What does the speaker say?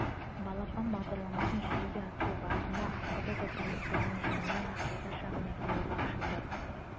балапан бағдарламасын жүзеге асыру барысында аққұдық орта мектебінің жанынан ақбота шағын орталығы ашылды